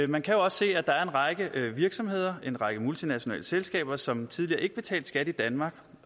man kan også se at der er en række virksomheder en række multinationale selskaber som tidligere ikke betalte skat i danmark